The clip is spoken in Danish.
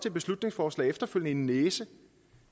et beslutningsforslag og efterfølgende en næse